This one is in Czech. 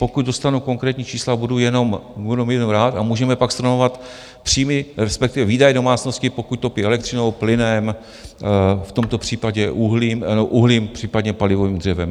Pokud dostanu konkrétní čísla, budu jenom rád a můžeme pak stanovovat příjmy, respektive výdaje domácnosti, pokud topí elektřinou, plynem, v tomto případě uhlím, případně palivovým dřevem.